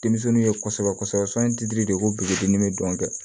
Denmisɛnninw ye kosɛbɛ kosɛbɛ sɔnniti de ko biridimi bɛ don kɛ